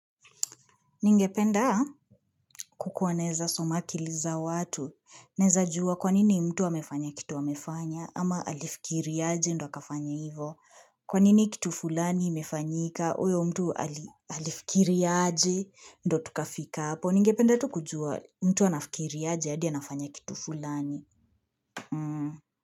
Ningependa kukuwaneza somakiliza watu. Neza juwa kwanini mtu wamefanya kitu wamefanya ama alifikiria aje ndo akafanya hivo. Kwanini kitu fulani imefanyika uyo mtu alifikiri aje ndo tukafika hapo. Ningependa tu kujua mtu wanafikiri aje hadi anafanya kitu fulani.